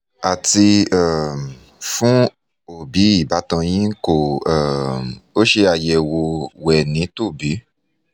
àti um fún òbí ìbátan yín kó um o ṣe ayẹ̀wò wẹ̀nítòbí